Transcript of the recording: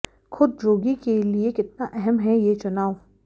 खुद जोगी के लिए कितना अहम है ये चुनाव